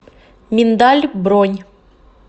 миндаль бронь